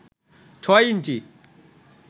ছয় ইঞ্চি